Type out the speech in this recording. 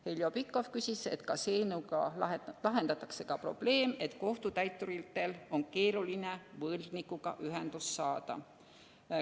Heljo Pikhof küsis, kas eelnõuga lahendatakse ka probleem, et kohtutäituritel on keeruline võlgnikuga ühendust saada.